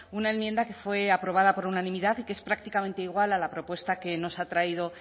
una enmienda que fue aprobada por unanimidad y que es prácticamente igual a la propuesta que nos ha traído